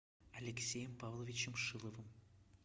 алексеем павловичем шиловым